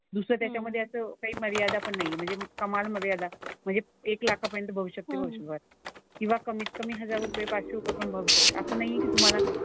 दुसरं त्याच्यामधे असं काही मर्यादा पण नाही आहे. म्हणजे कमाल मर्यादा म्हणजे एक लाखापर्यंत भविष्यात ते ठेवू शकाल. किंवा कमीत कमी हजार रुपये, पाचशे रुपये पण भरू शकता. असं नाही आहे की तुम्हाला,